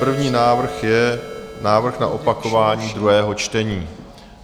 První návrh je návrh na opakování druhého čtení.